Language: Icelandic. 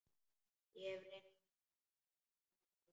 Ég hef reynt þetta áður.